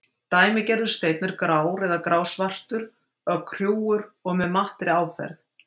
Dæmigerður steinn er grár eða grá-svartur, ögn hrjúfur og með mattri áferð.